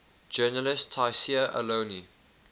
journalist tayseer allouni